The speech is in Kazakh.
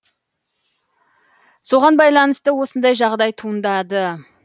соған байланысты осындай жағдай туындады